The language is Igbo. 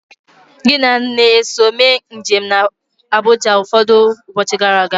Gị na nne eso mee njem na Abuja ụfọdụ ụbọchị gara aga?